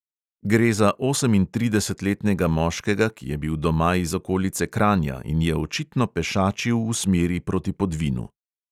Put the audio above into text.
Gre za osemintridesetletnega moškega, ki je bil doma iz okolice kranja in je očitno pešačil v smeri proti podvinu.